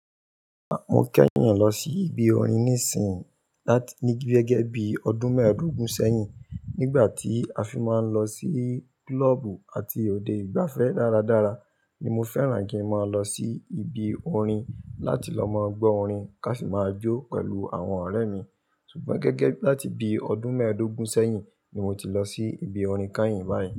Mo kẹ́yìn lọ sí ibi orin nísìí, láti ní gẹ́gẹ́ bí ọdún mẹ́ẹ̀dógún sẹ́yìn. Nígbà tí a fi máa ń lọ sí klọ́ọ̀bù àti òde ìgbafẹ́ dáradára ni mo fẹ́ràn kí ń máa lọ sí ibi orin láti lọ máa gbọ́ orin ká fi máa jó pẹ̀lú àwọn ọ̀rẹ́ mi. Sùgbọ́n gẹ́gẹ́ bí láti bí ọdún mẹ́ẹ̀dógún sẹ́yìn ni mo ti lọ sí ibi orin kányìn báyìí.